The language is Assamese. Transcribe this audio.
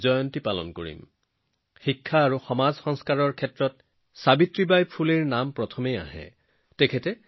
সাবিত্ৰীবাই ফুলেজীৰ নাম মনলৈ আহিলেই মনলৈ আহে শিক্ষা আৰু সমাজ সংস্কাৰৰ ক্ষেত্ৰত তেওঁৰ জড়িত থকা কথা